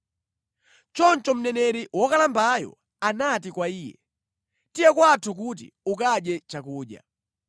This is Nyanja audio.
Choncho mneneri wokalambayo anati kwa iye, “Tiye kwathu kuti ukadye chakudya.”